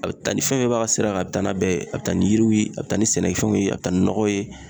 A be taa ni fɛn fɛn b'a ka sira kan a be taa n'a bɛɛ ye a be taa ni yiriw ye a be taa ni sɛnɛfɛnw ye a be taa ni nɔgɔw ye